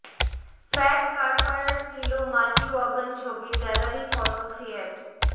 fat car ফায়ার Stilo Multiwagon ছবির gallery photo Fiat